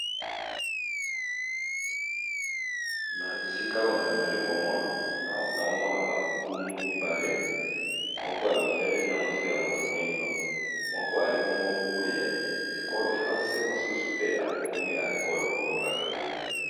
Na esika oyo nali komona b ankumu mibale, moko ya mondele na mosusuya moto moyindo . Moko ali bongo nkumu ya ekolo france mosusu pe ali nkumu ya ekolo Congo brazaville .